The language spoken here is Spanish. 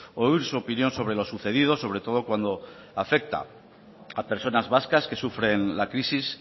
oír su opinión sobre lo sucedido sobre todo cuando afecta a personas vascas que sufren la crisis